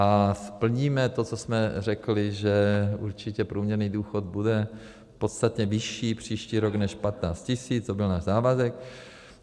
A splníme to, co jsme řekli, že určitě průměrný důchod bude podstatně vyšší příští rok než 15 tisíc, to byl náš závazek.